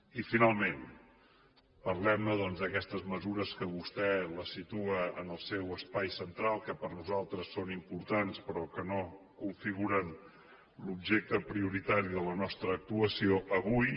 i finalment parlem ne doncs d’aquestes mesures que vostè les situa en el seu espai central que per nosaltres són importants però que no configuren l’objecte prioritari de la nostra actuació avui